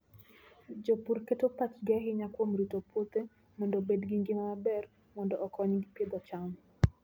Jopur keto pachgi ahinya kuom rito puothe mondo obed gi ngima maber, mondo okonygi pidho cham.